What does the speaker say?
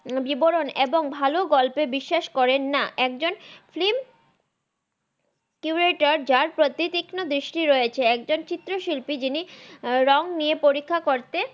বিবরন এবং ভাল গল্পে বিসসাস করেন না